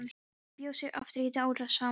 Hún bjó sig aftur í árásarham.